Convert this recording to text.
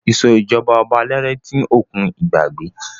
Ìṣèjọba ọba aládé ti ń òkun ìgbàgbé.